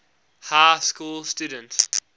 high school student